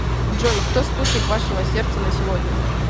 джой кто спутник вашего сердца на сегодня